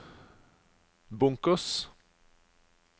bunkers